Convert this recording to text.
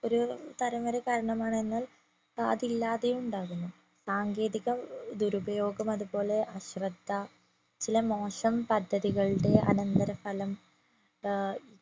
ഒരു തരം വരെ കാരണമാണ് എന്നാൽ അത് ഇല്ലാതെയും ഉണ്ടാകുന്നു സാങ്കേതിക ഏർ ദുരുപയോഗം അതുപോലെ അശ്രദ്ധ ചില മോശം പദ്ധ്തികളുടെ അനന്തര ഫലം ഏർ